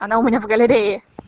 она у меня в галерее